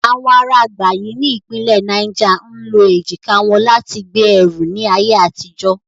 Awọn ara Gbagyi ti ipinle Niger ń lo ejika wọn lati gbe ẹru ni aye atijo.